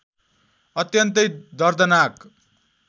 अत्यन्तै दर्दनाक